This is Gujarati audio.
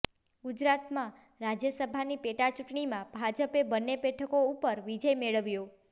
ગુજરાતમાં રાજ્યસભાની પેટાચૂંટણીમાં ભાજપે બંને બેઠકો ઉપર વિજય મેળવ્યો